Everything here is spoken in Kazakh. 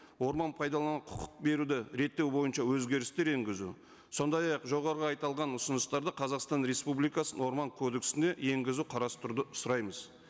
орман пайдалану құқық беруді реттеу бойынша өзгерістер енгізу сондай ақ жоғарғы ұсыныстарды қазақстан республикасының орман кодексіне енгізу қарастыруды сұраймыз